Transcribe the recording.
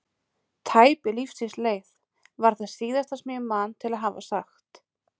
Tæp er lífsins leið, var það síðasta sem ég man til að hafa sagt.